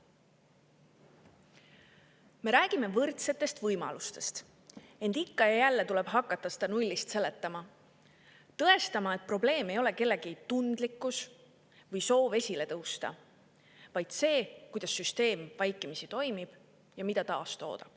Me räägime võrdsetest võimalustest, ent ikka ja jälle tuleb hakata seda nullist seletama, tõestama, et probleem ei ole kellegi tundlikkuses või soovis esile tõusta, vaid selles, kuidas süsteem vaikimisi toimib ja mida ta taastoodab.